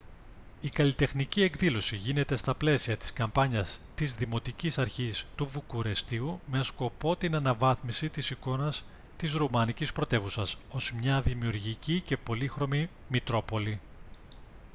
η καλλιτεχνική εκδήλωση γίνεται στα πλαίσια της καμπάνιας της δημοτικής αρχής του βουκουρεστίου με σκοπό την αναβάθμιση της εικόνας της ρουμανικής πρωτεύουσας ως μια δημιουργική και πολύχρωμη μητρόπολη